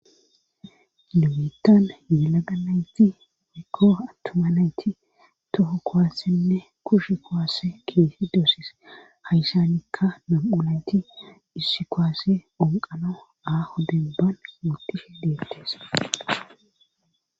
Nubettan yalaganayti mekko attumanayti toho kowaassenne kushe kowaasse keesi doosis hayshanikka mam7ulayti dhissi kowaasse onqano aaho debban mutishe deettes.